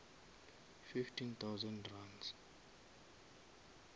fifteen thousand runs